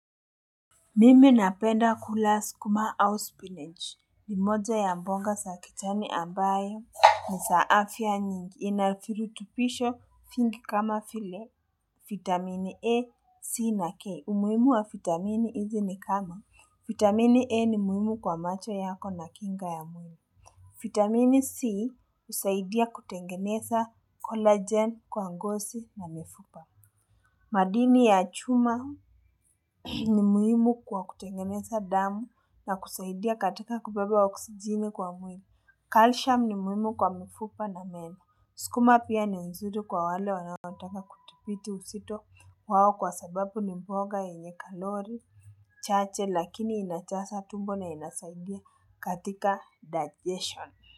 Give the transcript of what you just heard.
Mimi napenda kula sukuma au spinach. Nimoja ya mboga sa kichani ambayo ni afya nyingi. Inavirutubishi vingi kama vie. Vitamini A, C na K. Humuimu wa vitamini hizi ni kama. Vitamini A ni muhimu kwa macho yako na kinga ya mwini. Vitamini C usaidia kutengeneza collagen kwa ngosi na mifupa. Madini ya chuma ni muhimu kwa kutengeneza damu na kusaidia katika kubebe wa oksijeni kwa mwili Caltium ni muhimu kwa mifupa na meno. Sukuma pia ni nzuri kwa wale wanawataka kutipiti uzito wao kwa sababu ni mboga enye kalori, chache lakini inajaza tumbo na inasaidia katika digestion.